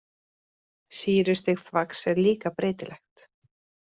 Sýrustig þvags er líka breytilegt.